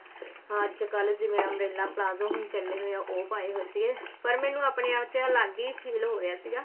ਅੱਜਕਲ ਜਿਵੇਂ umbrella palazzo ਹੁਣ ਚੱਲੇ ਹੋਏ ਆ ਉਹ ਪਾਏ ਹੋਏ ਸੀਗੇ ਪਰ ਮੈਨੂੰ ਆਪਣੇ ਆਪ ਚ ਅਲੱਗ ਹੀ feel ਹੋ ਰਿਹਾ ਸੀਗਾ